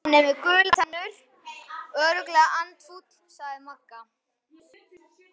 Hann er með gular tennur, örugglega andfúll sagði Magga.